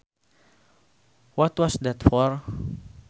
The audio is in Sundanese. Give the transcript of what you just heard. What was that for